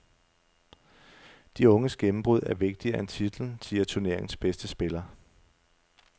De unges gennembrud er vigtigere end titlen, siger turneringens bedste spiller.